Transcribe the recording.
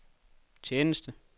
tjeneste